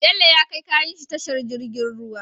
Bello ya kai kayan shi tashar jirgin ruwa